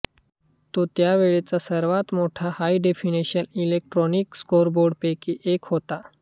तो त्यावेळचा सर्वात मोठ्या हायडेफिनिशन इलेक्ट्रॉनिक स्कोरबोर्डपैकी एक होता